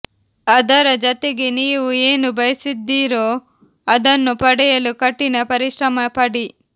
ಅದರ ಜತೆಗೆ ನೀವು ಏನು ಬಯಸಿದ್ದೀರೋ ಅದನ್ನು ಪಡೆಯಲು ಕಠಿಣ ಪರಿಶ್ರಮ ಪಡಿ